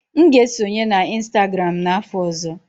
M ga-esonye na Instagram n'afọ ọzọ.